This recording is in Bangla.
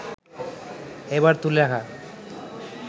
এবার তুলে রাখা